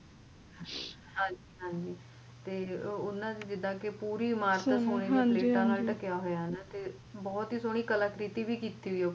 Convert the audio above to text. ਹਾਂਜੀ ਜਿੱਦਾ ਓਹਨਾ ਨੇ ਪੂਰਾ ਸੋਨੇ ਦੀ ਇੱਟਾ ਨਾਲ ਢਕਿਆ ਹੋਇਆ ਬਹੁਤ ਸੋਹਣੀ ਕਲਾਕ੍ਰਿਤੀ ਵੀ ਕੀਤੀ ਹੋਈ ਏ